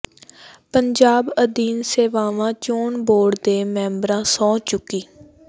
ਪੰਜਾਬ ਅਧੀਨ ਸੇਵਾਵਾਂ ਚੋਣ ਬੋਰਡ ਦੇ ਮੈਂਬਰਾਂ ਸਹੁੰ ਚੁੱਕੀ